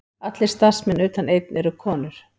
Allir starfsmenn utan einn eru konur